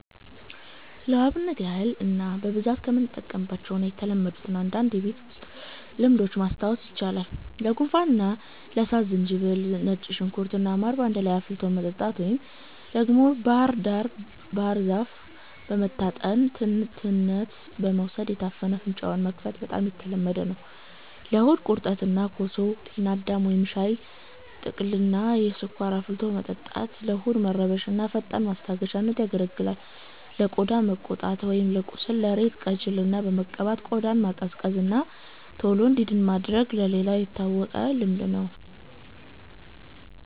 ለአብነት ያህል እኔ በብዛት የምጠቀምባቸውን እና የተለመዱትን አንዳንድ የቤት ውስጥ ልምዶች ማስታወስ ይቻላል፦ ለጉንፋን እና ለሳል፦ ዝንጅብል፣ ነጭ ሽንኩርት እና ማር በአንድ ላይ አፍልቶ መጠጣት፣ ወይም ደግሞ ባህር ዛፍ በመታጠን ትነት በመውሰድ የታፈነ አፍንጫን መክፈት በጣም የተለመደ ነው። ለሆድ ቁርጠት፦ ኮሶ፣ ጤና አዳም ወይም ሻይ ቅጠልን ያለ ስኳር አፍልቶ መጠጣት ለሆድ መረበሽ እንደ ፈጣን ማስታገሻነት ያገለግላል። ለቆዳ መቆጣት ወይም ለቁስል፦ የሬት ጄልን በመቀባት ቆዳን ማቀዝቀዝ እና ቶሎ እንዲድን ማድረግ ሌላው የታወቀ ልምድ ነው።